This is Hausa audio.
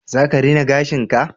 Za ka rina gashin ka?